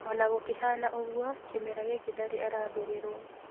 Ona gũkĩhana ũguo, kĩmera gĩkĩ ndarĩ arambĩrĩrwo